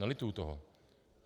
Nelituji toho.